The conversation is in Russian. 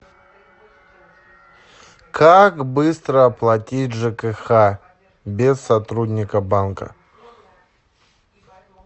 как быстро оплатить жкх без сотрудника банка